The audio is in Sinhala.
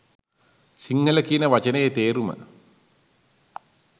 සිංහල කියන වචනයෙ තේරුම